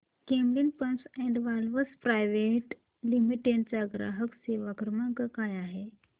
Camlin pumps and valves private limited चा ग्राहक सेवा क्रमांक काय आहे